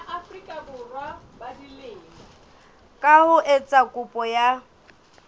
ka ho etsa kopo ya